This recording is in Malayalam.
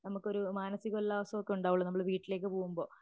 നമുക്കൊരു മാനസിക ഉല്ലാസമൊക്കെ ഉണ്ടാവുള്ളൂ നമ്മള് വീട്ടിലേക്ക് പോകുമ്പോ